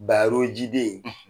Barojiden.